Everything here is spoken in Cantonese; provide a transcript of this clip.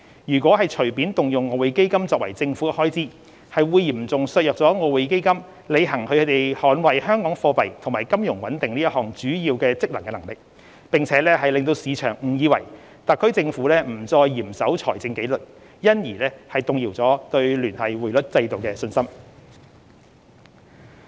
如果隨便動用外匯基金作政府開支，會嚴重削弱外匯基金履行捍衞香港貨幣和金融穩定這項主要職能的能力，亦令市場誤以為特區政府不再嚴守財政紀律，因而動搖對聯繫匯率制度的信心。